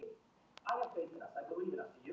Tímóteus, ég kom með níutíu og sex húfur!